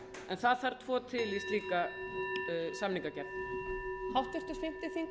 en það þarf tvo til í slíka samningagerð